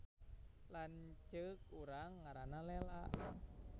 Lanceuk urang ngaranna Lela